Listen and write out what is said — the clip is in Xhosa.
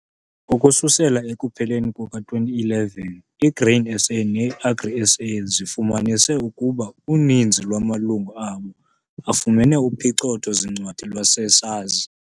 Ukususela ekupheleni kuka-2011 i-Grain SA ne-Agri SA zifumanise ukuba uninzi lwamalungu abo afumene uphicotho-zincwadi lwase-SARS.